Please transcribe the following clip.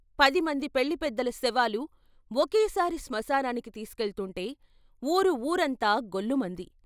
పది మంది పెళ్ళి పెద్దల శవాలు ఒకేసారి స్మశానానికి తీసుకెళ్తుంటే ఊరు వూరంతా గొల్లుమంది.